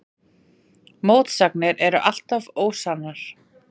mótsagnir eru alltaf ósannar